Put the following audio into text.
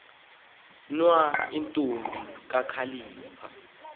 nwa intombi kakhalipha